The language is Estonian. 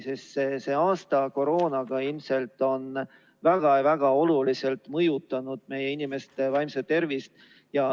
Sest see aasta koroonaga on ilmselt väga oluliselt mõjutanud meie inimeste vaimset tervist.